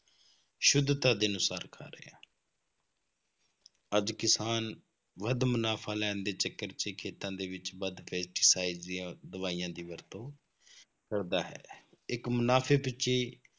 ਸੁੱਧਤਾ ਦੇ ਅਨੁਸਾਰ ਖਾ ਰਹੇ ਹਾਂ ਅੱਜ ਕਿਸਾਨ ਵੱਧ ਮੁਨਾਫ਼ਾ ਲੈਣ ਦੇ ਚੱਕਰ 'ਚ ਖੇਤਾਂ ਦੇ ਵਿੱਚ ਵੱਧ pesticide ਜਾਂ ਦਵਾਈਆਂ ਦੀ ਵਰਤੋਂ ਕਰਦਾ ਹੈ, ਇੱਕ ਮੁਨਾਫ਼ੇ ਪਿੱਛੇ ਹੀ